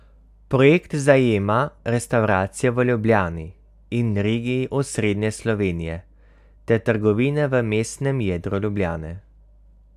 Projekt zajema restavracije v Ljubljani in regiji Osrednje Slovenije ter trgovine v mestnem jedru Ljubljane.